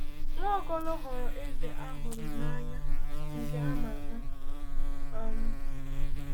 Nwaokolo ghọrọ eze a hụrụ n’anya nke a ma ama. um